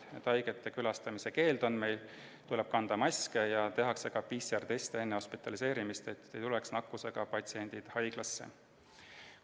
Meil kehtib haigete külastamise keeld, tuleb kanda maski ja enne hospitaliseerimist tehakse PCR-test, et nakkusega patsiendid haiglasse ei tuleks.